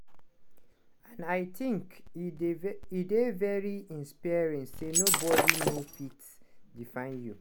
and i tink e dey very inspiring say nobodi no fit define you."